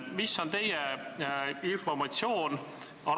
Mis on teie informatsioon?